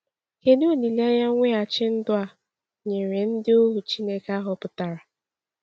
Kedu olileanya mweghachi ndụ a nyere ndị ohu Chineke a họpụtara?